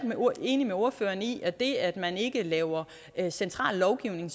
enig med ordføreren i at det at man ikke laver central lovgivning